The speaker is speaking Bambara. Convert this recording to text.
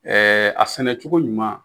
Ɛɛ a sɛnɛ cogo ɲuman